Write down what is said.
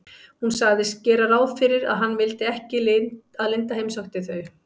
Hún sagðist gera ráð fyrir að hann vildi ekki að linda heimsækti þau.